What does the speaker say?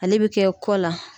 Ale be kɛ kɔ la